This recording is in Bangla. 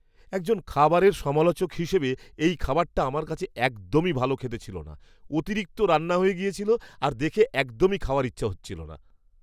একজন খাবারের সমালোচক হিসেবে এই খাবারটা আমার কাছে একদমই ভালো খেতে ছিল না। অতিরিক্ত রান্না হয়ে গেছিল আর দেখে একদমই খাওয়ার ইচ্ছা হচ্ছিল না!